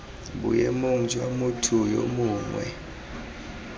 boemong jwa motho yo mongwe